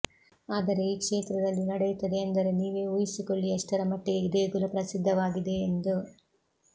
ಆದರೆ ಈ ಕ್ಷೇತ್ರದಲ್ಲಿ ನಡೆಯುತ್ತದೆ ಎಂದರೆ ನೀವೇ ಊಹಿಸಿಕೊಳ್ಳಿ ಎಷ್ಟರಮಟ್ಟಿಗೆ ಈ ದೇಗುಲ ಪ್ರಸಿದ್ಧವಾಗಿದೆ ಎಂದು